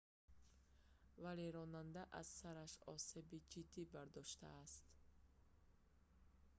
вале ронанда аз сараш осеби ҷиддӣ бардоштааст